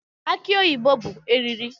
Aki oyibo bụ eriri